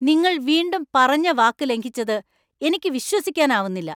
നിങ്ങൾ വീണ്ടും പറഞ്ഞ വാക്ക് ലംഘിച്ചത് എനിക്ക് വിശ്വസിക്കാനാവുന്നില്ല.